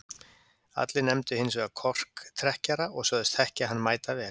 Allir nefndu hins vegar korktrekkjara og sögðust þekkja hann mætavel.